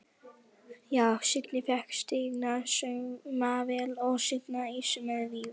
Já: Signý fékk stigna saumavél og signa ýsu með víum.